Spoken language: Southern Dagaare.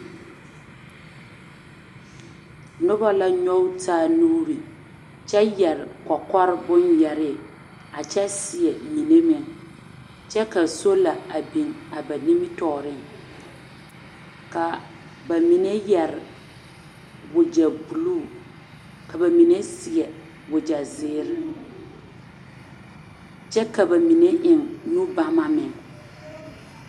Noba la nyɔge taa nuuri kyɛ yɛre kɔkɔre bonyɛre a kyɛ seɛ mine meŋ kyɛ ka soola a biŋ a ba nimitɔɔriŋ ka ba mine yɛre wagyɛ buluu ka ba mine seɛ wagy ɛ ziire kyɛ ka ba mine eŋ nubama meŋ.